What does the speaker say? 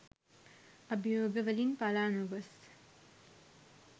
අභියෝග වලින් පළා නොගොස්